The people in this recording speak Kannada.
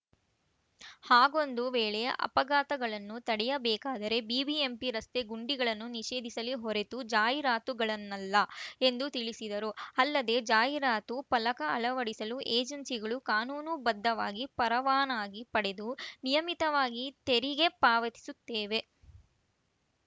ಹಾಗೊಂದು ವೇಳೆ ಅಪಘಾತಗಳನ್ನು ತಡೆಯಬೇಕಾದರೆ ಬಿಬಿಎಂಪಿ ರಸ್ತೆ ಗುಂಡಿಗಳನ್ನು ನಿಷೇಧಿಸಲಿ ಹೊರತು ಜಾಹೀರಾತುಗಳನ್ನಲ್ಲ ಎಂದು ತಿಳಿಸಿದರು ಅಲ್ಲದೆ ಜಾಹೀರಾತು ಫಲಕ ಅಳವಡಿಸಲು ಏಜೆನ್ಸಿಗಳು ಕಾನೂನುಬದ್ಧವಾಗಿ ಪರವಾನಗಿ ಪಡೆದು ನಿಯಮಿತವಾಗಿ ತೆರಿಗೆ ಪಾವತಿಸುತ್ತಿವೆ